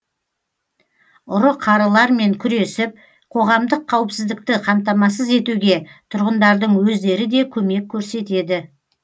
ұры қарылармен күресіп қоғамдық қауіпсіздікті қамтамасыз етуге тұрғындардың өздері де көмек көрсетеді